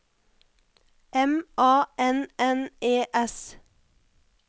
M A N N E S